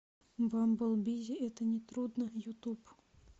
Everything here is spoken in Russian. бамбл бизи это не трудно ютуб